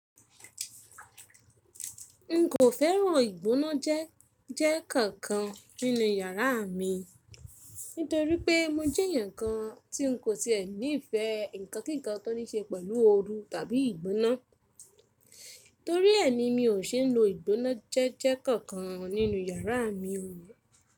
N kò fẹ́ràn ìgbóná jẹ́jẹ́ kankan nínú yàrá mi, nítorí pé mo jẹ́ èèyàn kan tí n kò tíì ní ìfẹ́ ǹkankan tó ní ṣe pẹ̀lú ooru tàbí ìgbóná. Torí ẹni mi ò ṣe é lò ìgbóná jẹ́jẹ́ kankan nínú yàrá mi o.